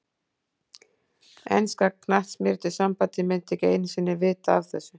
Enska knattspyrnusambandið myndi ekki einu sinni vita af þessu.